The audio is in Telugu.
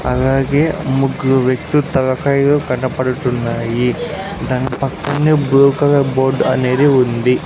అలాగే ముగ్గురు వ్యక్తులు తలకాయలు కనపడుతున్నాయి దాని పక్కనే బ్లూ కలర్ బోర్డ్ అనేది ఉంది.